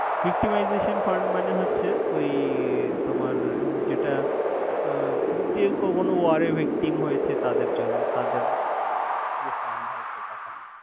Iktimization Fund মানে হচ্ছেে ওই তোমার যেটা যে কখনো ওয়ার এ Victim হয়েছে তাদের জন্য তাদের যে Fund হয় সেটা Fund ।